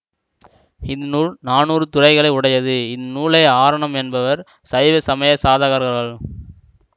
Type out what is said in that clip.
இந்நூல் நானூறு துறைகளை உடையது இந்நூலை ஆரணம் என்பவர் சைவ சமய சாதகர்கள்